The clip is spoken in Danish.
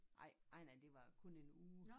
Ej ej nej det var kun en uge